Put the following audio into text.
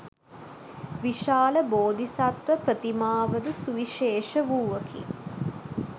විශාල බෝධිසත්ව ප්‍රතිමාවද සුවිශේෂ වූවකි.